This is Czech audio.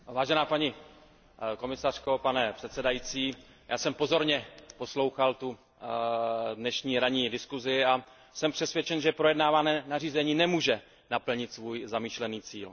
Paní komisařko, pane předsedající, já jsem pozorně poslouchal tu dnešní ranní diskusi a jsem přesvědčen, že projednávané nařízení nemůže naplnit svůj zamýšlený cíl.